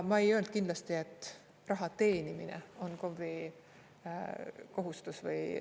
Ma ei öelnud kindlasti, et raha teenimine on KOV-i kohustus või …